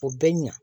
O bɛ ɲa